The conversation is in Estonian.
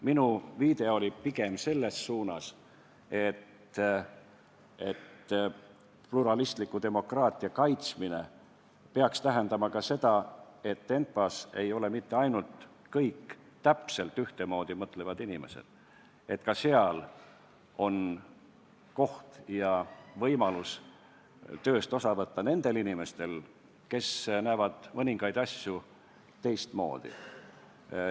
Minu viide oli pigem selles suunas, et pluralistliku demokraatia kaitsmine peaks tähendama ka seda, et ENPA-s ei ole mitte ainult kõik täpselt ühtemoodi mõtlevad inimesed, et ka seal on võimalus tööst osa võtta nendel inimestel, kes näevad mõningaid asju teistmoodi.